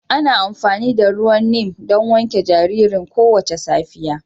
Ana amfani da ruwan Neem don wanke jaririn kowace safiya